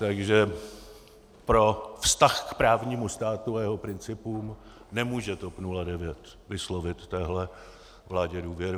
Takže pro vztah k právnímu státu a jeho principům nemůže TOP 09 vyslovit téhle vládě důvěru.